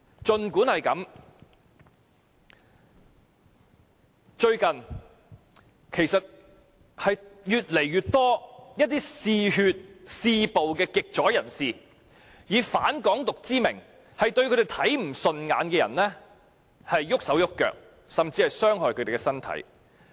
最近有越來越多嗜血、嗜暴的極左人士，以反"港獨"之名對他們看不順眼的人動手動腳，甚至傷害他們的身體。